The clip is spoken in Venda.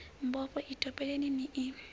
mbofho i topoleni ni i